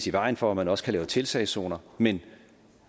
i vejen for at man også kan lave tiltagszoner men